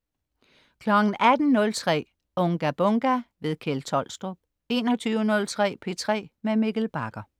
18.03 Unga Bunga! Kjeld Tolstrup 21.03 P3 med Mikkel Bagger